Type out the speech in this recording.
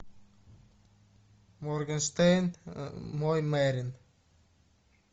моргенштерн мой мерин